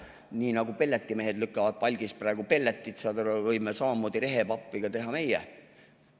Nii nagu pelletimehed lükkavad palgist praegu pelletit, võime samamoodi rehepappi teha ka meie.